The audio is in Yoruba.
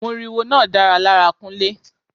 Moriwo náà dára lára Kunle.